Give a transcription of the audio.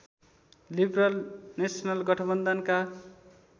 liberal national गठबन्धनका